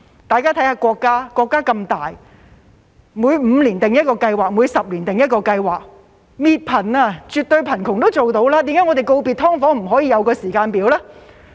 大家看一看國家，國家那麼大，每5年訂一個計劃，每10年訂一個計劃，滅貧、消滅絕對貧窮也做得到，為何我們告別"劏房"不可以訂立一個時間表呢？